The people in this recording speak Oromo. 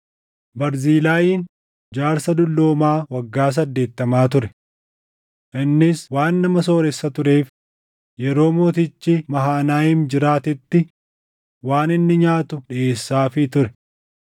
Barzilaayiin jaarsa dulloomaa waggaa saddeettama ture. Innis waan nama sooressa tureef yeroo mootichi Mahanayiim jiraatetti waan inni nyaatu dhiʼeessaafii ture.